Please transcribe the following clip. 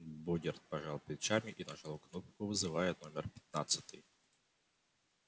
богерт пожал плечами и нажал кнопку вызывая номер пятнадцатый